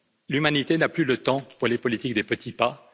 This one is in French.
L'humanité n'a plus le temps pour les politiques des petits pas.